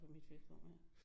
For mit vedkommende